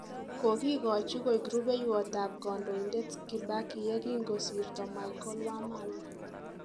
Kokikochi koik rubeiwot ab Kandoindet Kibaki yekingo sirto Michael Wamalwa